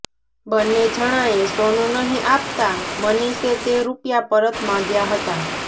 બન્ને જણાએ સોનું નહી આપતાં મનીષે તે રૂપિયા પરત માગ્યા હતા